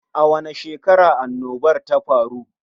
A wani shekarar annobar ta faru?